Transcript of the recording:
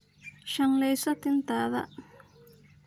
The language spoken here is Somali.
Shanleyso tintadha.